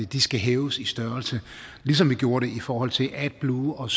de skal hæves i størrelse ligesom vi gjorde det i forhold til adblue og